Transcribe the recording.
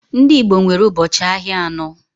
Ndị Igbo nwere ubochi ahịa anọ.